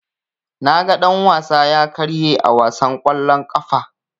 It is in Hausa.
Naga dan-wasa ya karye a wasan kwallon ƙafa.